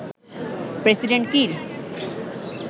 president Kiir